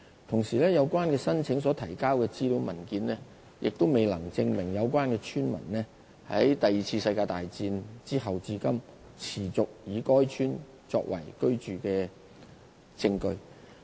同時，有關申請所提交的資料文件，亦未能證明有關村民在第二次世界大戰後至今，持續以該村作為居住地方。